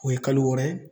O ye kalo wɔɔrɔ